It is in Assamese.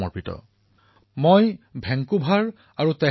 বেকুম্বৰ আৰু তেহৰাণৰ গুৰুদ্বাৰত মোৰ যাত্ৰাৰ কথা কেতিয়াও পাহৰিব নোৱাৰো